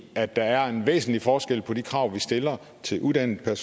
at der er en væsentlig forskel på de krav vi stiller til uddannet